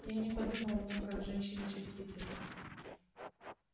я не подумал о том как женщины чувствительны